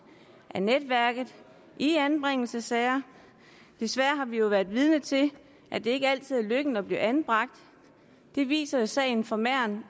af netværket i anbringelsessager desværre har vi jo været vidne til at det ikke altid er lykken at blive anbragt det viser sagen fra mern